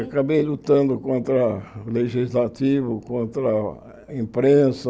Acabei lutando contra o Legislativo, contra a imprensa.